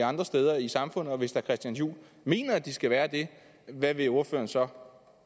andre steder i samfundet og hvis herre christian juhl mener at de skal være det hvad vil ordføreren så